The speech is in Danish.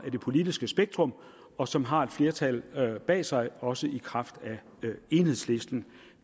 i det politiske spektrum og som har et flertal bag sig også i kraft af enhedslisten